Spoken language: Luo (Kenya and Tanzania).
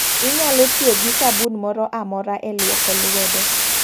Inyalo tiyo gi sabun moro amora e luoko luedo.